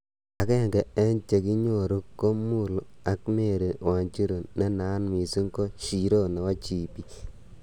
Agenge en chekinyoru ko Mulu ak Mary Wanjiru, nenat missing ko 'Shiro nebo GP.'